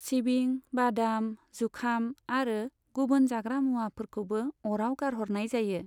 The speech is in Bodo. सिबिं, बादाम, जुखाम आरो गुबुन जाग्रा मुवाफोरखौबो अराव गारहरनाय जायो।